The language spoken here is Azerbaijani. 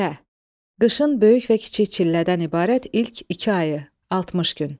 Çillə, qışın böyük və kiçik çillədən ibarət ilk iki ayı, 60 gün.